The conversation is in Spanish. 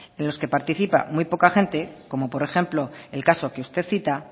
en los que participa muy poca gente como por ejemplo el caso que usted cita